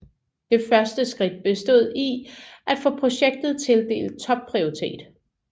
Det første skridt bestod i at få projektet tildelt topprioritet